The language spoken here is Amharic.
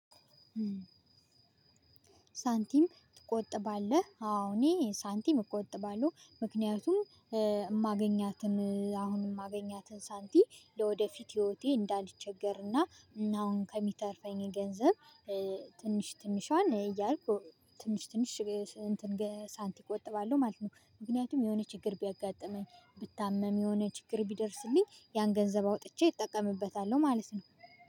ሳንቲም ትቆጥባለህ? አዎ እኔ ሳንቲም እቆጥባለሁ። ምክንያቱም የማገኛትን አሁን የማገኛትን ሳንቲም ለወደፊት ህይወቴ እንዳልቸገርና አሁን ከሚተርፈኝ ገንዘብ፤ ትንሽ ትንሿን እያልኩ ትንሽ ትንሽ ሳንቲም እቆጥባለሁ ማለት ነው። ምክንያቱም የሆነ ችግር ቢያጋጥመኝ ብታመም የሆነ ችግር ቢደርስልኝ ያን ገንዘብ አውጥቼ እጠቀምበታለሁ ማለት ነው።